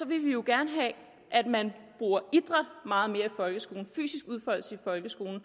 vil vi jo gerne have at man bruger idræt meget mere i folkeskolen fysisk udfoldelse i folkeskolen og